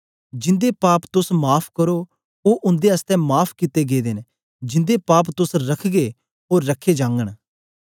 जिंदे पाप तोस माफ़ करो ओ उन्दे आसतै माफ़ कित्ते गेदे न जिंदे पाप तोस रखगे ओ रखे जागन